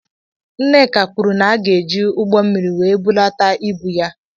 Nneka kwụrụ na aga eji ụgbọ mmiri wee bulata ịbụ ya.